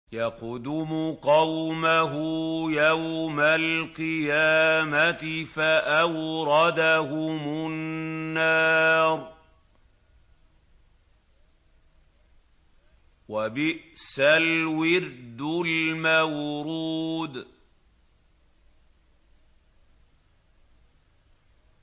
يَقْدُمُ قَوْمَهُ يَوْمَ الْقِيَامَةِ فَأَوْرَدَهُمُ النَّارَ ۖ وَبِئْسَ الْوِرْدُ الْمَوْرُودُ